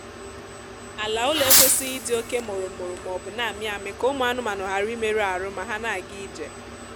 ala ụlọ ekwesịghị ịdị oke mụrụmụrụ maọbụ na-amị amị ka ụmụ anụmaanụ ghara imerụ ahụ ma ha na-ga ije